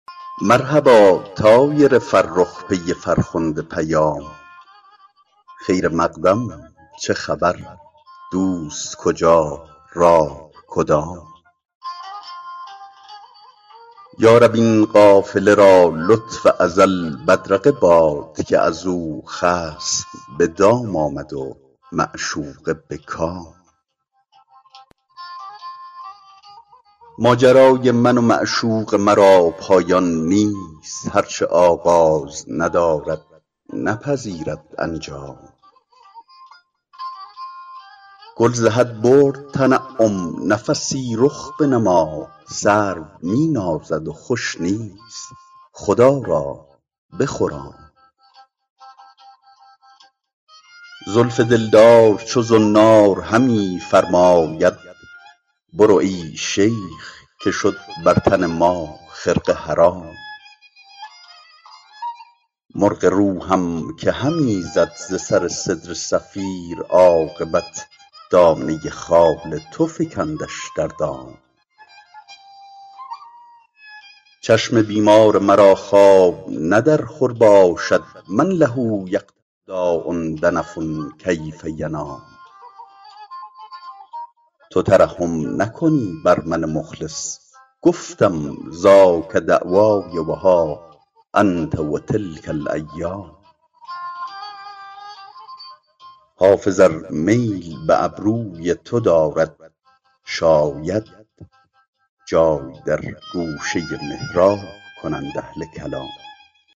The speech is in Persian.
مرحبا طایر فرخ پی فرخنده پیام خیر مقدم چه خبر دوست کجا راه کدام یا رب این قافله را لطف ازل بدرقه باد که از او خصم به دام آمد و معشوقه به کام ماجرای من و معشوق مرا پایان نیست هر چه آغاز ندارد نپذیرد انجام گل ز حد برد تنعم نفسی رخ بنما سرو می نازد و خوش نیست خدا را بخرام زلف دلدار چو زنار همی فرماید برو ای شیخ که شد بر تن ما خرقه حرام مرغ روحم که همی زد ز سر سدره صفیر عاقبت دانه خال تو فکندش در دام چشم بیمار مرا خواب نه در خور باشد من له یقتل داء دنف کیف ینام تو ترحم نکنی بر من مخلص گفتم ذاک دعوای و ها انت و تلک الایام حافظ ار میل به ابروی تو دارد شاید جای در گوشه محراب کنند اهل کلام